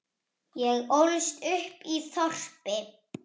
Ég ólst upp í þorpi.